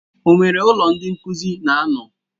O nwere ụlọ ndị nkuzi na-ano?